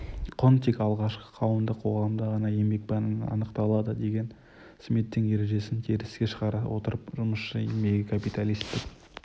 құн тек алғашқы қауымдық қоғамда ғана еңбекпен анықталады деген смиттің ережесін теріске шығара отырып жұмысшы еңбегі капиталистік